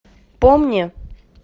помни